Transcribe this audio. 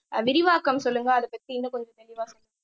ஆஹ் விரிவாக்கம் சொல்லுங்க அதைப் பத்தி இன்னும் கொஞ்சம் தெளிவா சொல்லுங்க